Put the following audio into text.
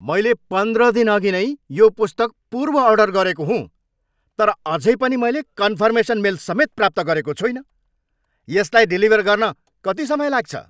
मैले पन्ध्र दिनअघि नै यो पुस्तक पूर्व अर्डर गरेको हुँ तर अझै पनि मैले कन्फर्मेसन मेल समेत प्राप्त गरेको छुइनँ। यसलाई डेलिभर गर्न कति समय लाग्छ?